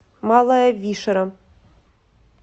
малая вишера